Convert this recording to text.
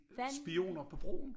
Spioner på broen